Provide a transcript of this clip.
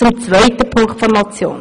Zum zweiten Punkt der Motion.